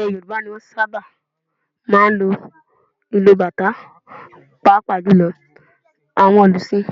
Ilẹ̀ Yorùbá ni wọn ti sábà máa ń lu ìlù bàtá pàápàá jù lọ àwọn òlùsìn